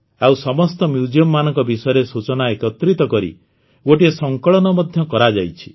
ଆଉ ସମସ୍ତ Museumମାନଙ୍କ ବିଷୟରେ ସୂଚନା ଏକତ୍ରିତ କରି ଗୋଟିଏ ସଂକଳନ ମଧ୍ୟ କରାଯାଇଛି